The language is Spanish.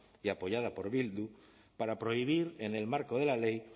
y apoyada por bildu para prohibir en el marco de la ley